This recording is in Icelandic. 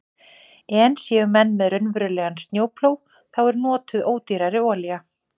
En séu menn með raunverulegan snjóplóg þá er notuð ódýrari olía.